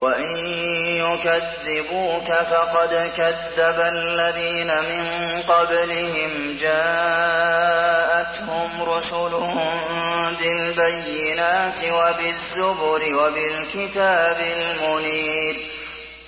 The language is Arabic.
وَإِن يُكَذِّبُوكَ فَقَدْ كَذَّبَ الَّذِينَ مِن قَبْلِهِمْ جَاءَتْهُمْ رُسُلُهُم بِالْبَيِّنَاتِ وَبِالزُّبُرِ وَبِالْكِتَابِ الْمُنِيرِ